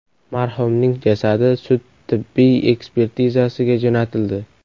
Marhumning jasadi sud tibbiy ekspertizasiga jo‘natildi.